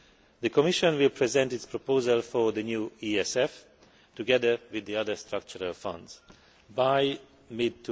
The Commission will present its proposal for the new ESF together with the other structural funds by mid